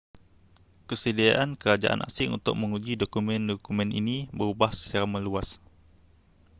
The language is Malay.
kesediaan kerajaan asing untuk menguji dokumen-dokumen ini berubah secara meluas